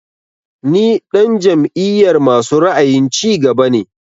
Ni ɗan jam'iyar masu ra'ayin cigaba ne